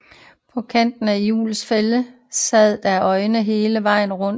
På kanten af hjulenes fælge sad der øjne hele vejen rundt